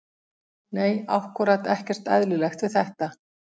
Nei ákkúrat ekkert eðlilegt við þetta.